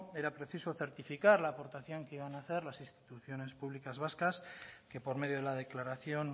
era preciso certificar la aportación que iban hacer las instituciones públicas vascas que por medio de la declaración